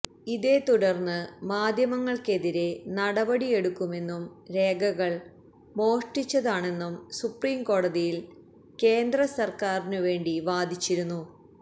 ഇതേത്തുടര്ന്ന് മാധ്യമങ്ങള്ക്കെതിരേ നടപടിയെടുക്കുമെന്നും രേഖകള് മോഷ്ടിച്ചതാണെന്നും സുപ്രിംകോടതിയില് കേന്ദ്രസര്ക്കാരിനു വേണ്ടി വാദിച്ചിരുന്നു